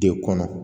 De kɔnɔ